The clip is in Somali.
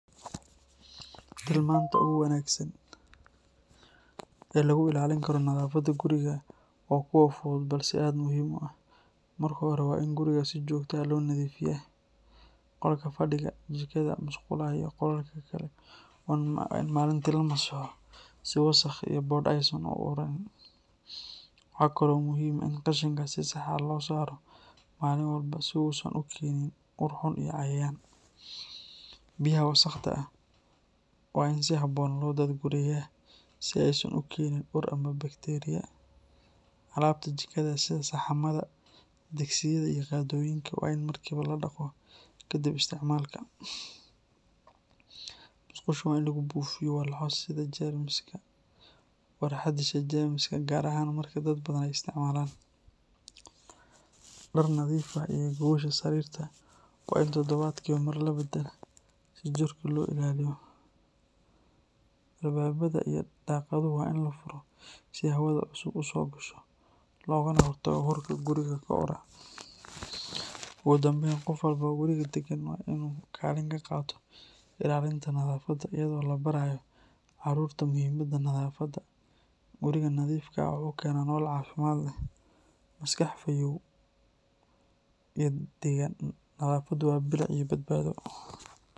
Tilmanta ugu wanaagsan ee lagu ilaalin karo nadaafadda gurigaaga waa kuwo fudud balse aad muhiim u ah. Marka hore, waa in guriga si joogto ah loo nadiifiyaa. Qolka fadhiga, jikada, musqulaha iyo qolalka kale waa in maalintii la masaxo si wasakh iyo boodh aysan u ururin. Waxaa kale oo muhiim ah in qashinka si sax ah loo saaro maalin walba si uu uusan u keenin ur xun iyo cayayaan. Biyaha wasakhda ah waa in si habboon loo daadgureeyaa si aysan u keenin ur ama bakteeriya. Alaabta jikada sida saxanada, digsiyada iyo qaadooyinka waa in markiiba la dhaqo kadib isticmaalka. Musqusha waa in lagu buufiyo walxo disha jeermiska, gaar ahaan marka dad badan ay isticmaalaan. Dhar nadiif ah iyo gogosha sariirta waa in todobaadkiiba mar la beddelaa si jirka loo ilaaliyo. Albaabbada iyo daaqadaha waa in la furo si hawada cusub u soo gasho loogana hortago urka guriga ku urura. Ugu dambayn, qof walba oo guriga deggan waa in uu kaalin ka qaato ilaalinta nadaafadda, iyadoo la barayo carruurta muhiimadda nadaafadda. Guriga nadiifka ah wuxuu keenaa nolol caafimaad leh, maskax fayoow iyo degganaan. Nadaafaddu waa bilic iyo badbaado.